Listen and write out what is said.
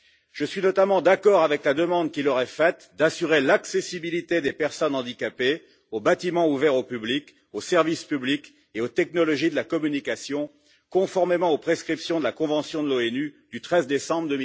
Je suis notamment d'accord avec la demande qui leur est faite d'assurer l'accessibilité des personnes handicapées aux bâtiments ouverts au public, aux services publics et aux technologies de la communication, conformément aux prescriptions de la convention de l'ONU du 13 décembre